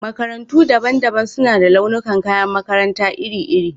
Makarantu daban-daban suna da launuka kayan makaranta iri-iri.